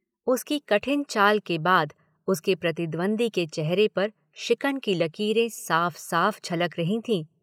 उसकी कठिन चाल के बाद उसके प्रतिद्वंद्वी के चेहरे पर शिकन की लकीरें साफ साफ झलक रही थीं।